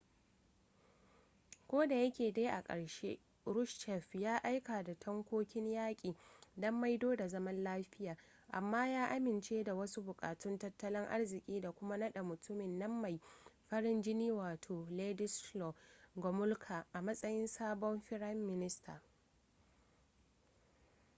kodayake dai a ƙarshe kruschev ya aika da tankokin yaƙi don maido da zaman lafiya amma ya amince da wasu buƙatun tattalin arziki da kuma naɗa mutumin nan mai farin jini wato wladyslaw gomulka a matsayin sabon firayin minista